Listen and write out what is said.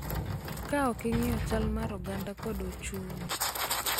Ka ok ing�iyo chal mar oganda kod ochumi.